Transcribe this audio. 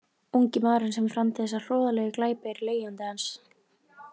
Ungi maðurinn sem framdi þessa hroðalegu glæpi er leigjandi hans.